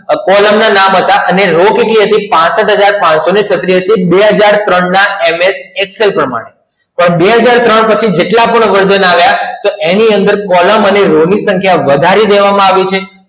column ના નામ હતાને રો કેટલી હતી પાસઠ હજાર પાંચસો છત્રીસ હતીબે હજાર ત્રણના MS Excel લ પ્રમાણે તો બે હજાર ત્રણ પછી જેટલા પણ version આવ્યા એની અંદર કોલમ અને રો ની સંખ્યા વધારી દેવામાં આવી છે